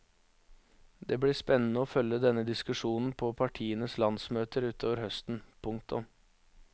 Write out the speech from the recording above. Det blir spennende å følge denne diskusjonen på partienes landsmøter utover høsten. punktum